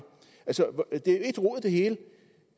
det hele